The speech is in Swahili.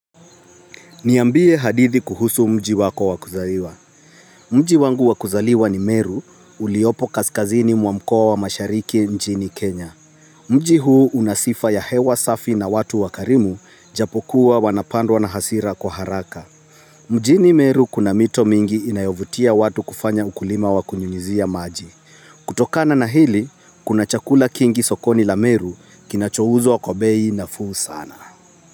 Niambie hadithi kuhusu mji wako wakuzaliwa. Mji wangu wakuzaliwa ni Meru, uliopo kaskazini mwa mkoo wa mashariki nchini Kenya. Mji huu unasifa ya hewa safi na watu wakarimu, ijapokuwa wanapandwa na hasira kwa haraka. Mjini Meru kuna mito mingi inayovutia watu kufanya ukulima wakunyunyuzia maji. Kutokana na hili, kuna chakula kingi sokoni la Meru, kinachouzwa kwabei nafuu sana.